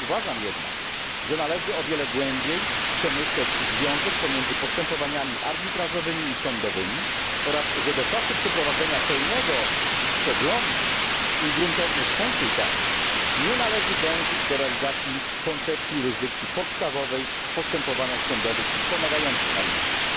Uważam jednak, że należy o wiele głębiej przemyśleć związek pomiędzy postępowaniami arbitrażowymi i sądowymi oraz, że do czasu przeprowadzenia pełnego przeglądu i gruntownych konsultacji nie należy dążyć do realizacji koncepcji jurysdykcji podstawowej w postępowaniach sądowych wspomagających arbitraż.